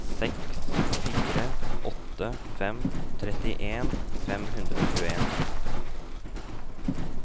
seks fire åtte fem trettien fem hundre og tjueen